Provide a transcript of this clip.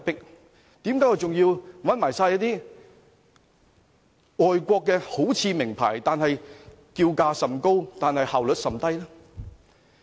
為甚麼我們還要用外國的，好像名牌、叫價甚高但效率甚低的顧問呢？